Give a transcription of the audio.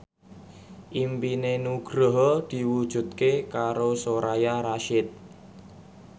impine Nugroho diwujudke karo Soraya Rasyid